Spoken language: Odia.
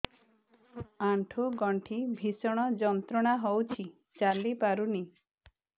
ଆଣ୍ଠୁ ଗଣ୍ଠି ଭିଷଣ ଯନ୍ତ୍ରଣା ହଉଛି ଚାଲି ପାରୁନି